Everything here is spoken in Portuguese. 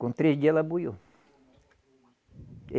Com três dia ela buiou.